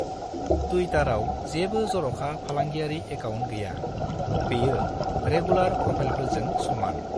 टुइटाराव जेबो जर'खा फालांगियारि एकाअन्ट गैया। बेयो रेगुलार प्रोफाइलफोरजों समान।